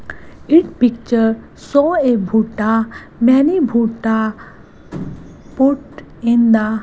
it picture show a many put in the --